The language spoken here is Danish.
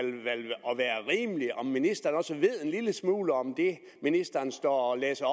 ministeren også ved en lille smule om det ministeren står og læser